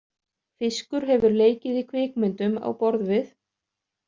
Fiskur hefur leikið í kvikmyndum á borð við.